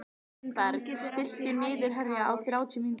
Mildinberg, stilltu niðurteljara á þrettán mínútur.